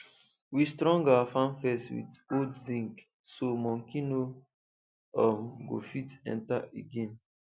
we strong our farm fence with old zinc so monkey no um go fit enter again